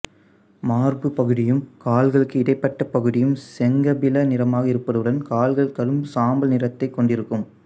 மார்புப் பகுதியும் கால்களுக்கு இடைப்பட்ட பகுதியும் செங்கபில நிறமாக இருப்பதுடன் கால்கள் கடும் சாம்பல் நிறத்தைக் கொண்டிருக்கும்